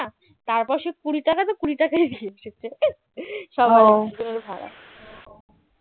তারপর সে কুড়ি টাকা তো কুড়ি টাকাই নিয়েছে